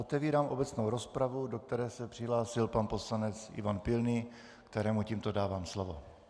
Otevírám obecnou rozpravu, do které se přihlásil pan poslanec Ivan Pilný, kterému tímto dávám slovo.